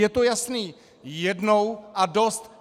Je to jasné - jednou a dost!